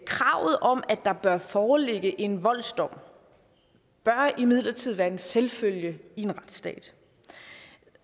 kravet om at der bør foreligge en voldsdom bør imidlertid være en selvfølge i en retsstat